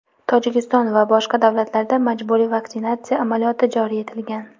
Tojikiston va boshqa davlatlarda majburiy vaksinatsiya amaliyoti joriy etilgan.